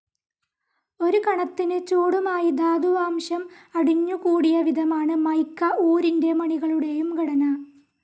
ഒരു കണത്തിന് ചൂടുമായി ധാതുവാശം അടിഞ്ഞുകൂടിയ വിധമാണ് മിക്ക ഊരിൻ്റെ മണികളുടെയും ഘടന.